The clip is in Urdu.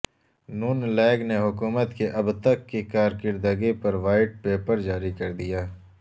ن لیگ نے حکومت کی اب تک کی کارکردگی پر وائٹ پیپر جاری کر دیا